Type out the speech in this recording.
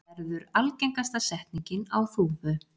verður algengasta setningin á Þúfu.